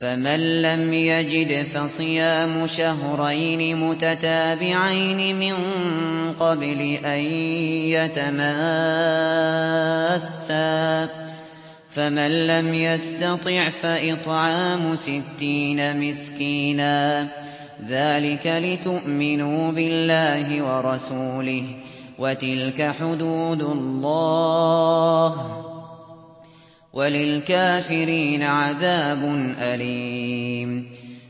فَمَن لَّمْ يَجِدْ فَصِيَامُ شَهْرَيْنِ مُتَتَابِعَيْنِ مِن قَبْلِ أَن يَتَمَاسَّا ۖ فَمَن لَّمْ يَسْتَطِعْ فَإِطْعَامُ سِتِّينَ مِسْكِينًا ۚ ذَٰلِكَ لِتُؤْمِنُوا بِاللَّهِ وَرَسُولِهِ ۚ وَتِلْكَ حُدُودُ اللَّهِ ۗ وَلِلْكَافِرِينَ عَذَابٌ أَلِيمٌ